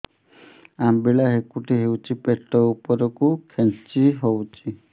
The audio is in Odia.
ଅମ୍ବିଳା ହେକୁଟୀ ହେଉଛି ପେଟ ଉପରକୁ ଖେଞ୍ଚି ହଉଚି